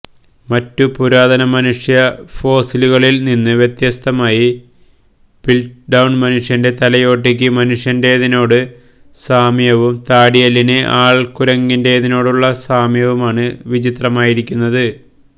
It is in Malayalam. മറ്റു പുരാതനമനുഷ്യഫോസിലുകളിൽ നിന്ന് വ്യത്യസ്തമായി പിൽറ്റ്ഡൌൺ മനുഷ്യൻ്റെ തലയോട്ടിക്ക് മനുഷ്യൻ്റേതിനോട് സാമ്യവും താടിയെല്ലിന് ആൾക്കുരങ്ങിൻ്റേതിനോടുമുള്ള സാമ്യവുമാണ് വിചിത്രമായിരുന്നത്